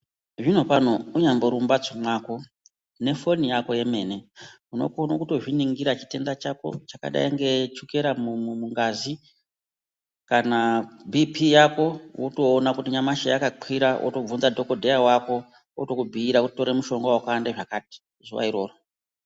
Zvinopano munyambori mumbatso mwako nefoni yako yemene unokone kutozviningira chitenda chako chakadai ngechukera mungazi kana bhipi yako wotoona kuti nyamashi yakakwira wotobvunza dhokodheya wako otokubhuira kuti tora mushonga wakati kuti zuwa iroro.